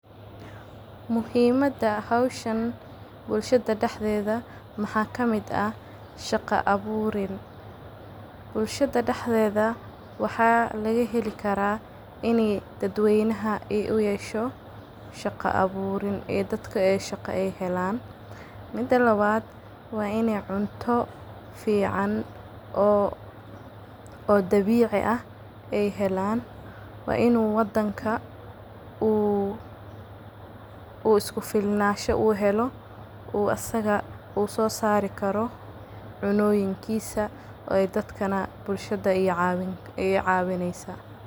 Muhimada howshan bulshada daxdedha, maxa kamid ah shaqa aburin bulshada daxdedha maxa laga heli kara inay dad weynaha aay uyesho qasho aburin iyo dadka inay shaqo helan, mida labad wa inay cunto fican oo dabici ah aay helan, wa inu wadanka uu iskufilnasho uhelo uu asaga sosari karo cunoyinkisa dadka nah bulshada aay cawineysa.